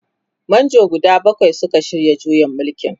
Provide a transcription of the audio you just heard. manjo guda bakwai Suka shirya juyin mulkin.